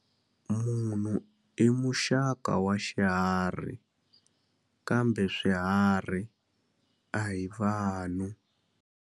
Munhu i muxaka wa xiharhi kambe swiharhi a hi vanhu.